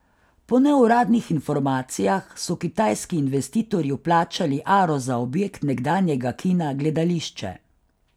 Po neuradnih informacijah so kitajski investitorji vplačali aro za objekt nekdanjega kina Gledališče.